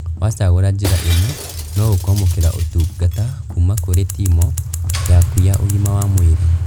Wacagũra njĩra ĩno, no ũkwamũkĩra ũtungata kuma kũrĩ timũ yaku ya ũgima wa mwĩrĩ